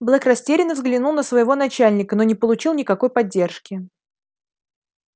блэк растерянно взглянул на своего начальника но не получил никакой поддержки